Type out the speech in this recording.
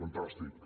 fantàstic